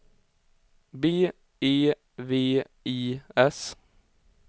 B E V I S